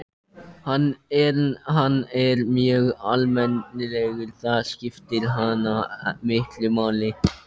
En hann er mjög almennilegur, það skiptir hana miklu máli.